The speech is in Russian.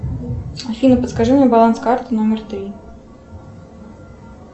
афина подскажи мне баланс карты номер три